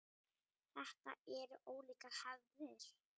Þetta eru ólíkar hefðir.